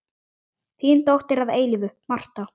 Þín dóttir að eilífu, Marta.